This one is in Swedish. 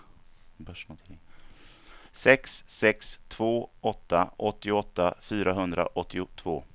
sex sex två åtta åttioåtta fyrahundraåttiotvå